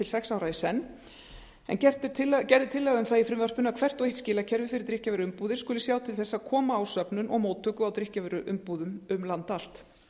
sex ára í senn en gerð er tillaga um það í frumvarpinu að hvert og eitt skilakerfi fyrir drykkjarvöruumbúðir skuli sjá til þess að koma á söfnun og móttöku á drykkjarvöruumbúðum um land allt